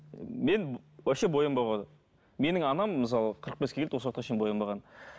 мен вообще боянбауға менің анам мысалы қырық беске келді осы уақытқа шейін боянбаған